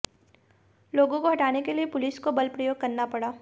लोगों को हटाने के लिए पुलिस को बल प्रयोग करना पड़ा